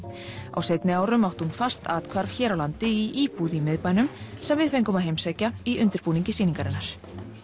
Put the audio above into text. á seinni árum átti hún fast athvarf hér á landi í íbúð í miðbænum sem við fengum að heimsækja í undirbúningi sýningarinnar